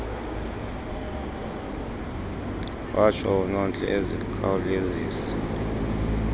watsho unontle ezikhawulezisa